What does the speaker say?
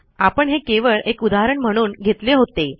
आपण हे केवळ एक उदाहरण म्हणून घेतले होते